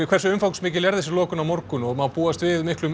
hversu umfangsmikil er þessi lokun á morgun og má búast við miklum